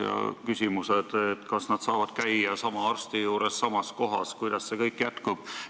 Neil on küsimusi, kas nad saavad edasi käia sama arsti juures samas kohas ja kuidas see kõik jätkub.